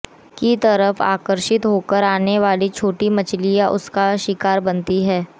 की तरफ आकर्षित होकर आने वाली छोटी मछलियां उसका शिकार बनती है